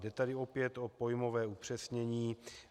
Jde tady opět o pojmové upřesnění.